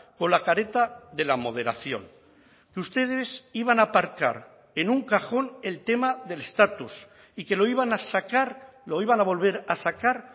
con la careta de la moderación que ustedes iban a aparcar en un cajón el tema del estatus y que lo iban a sacar lo iban a volver a sacar